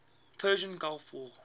persian gulf war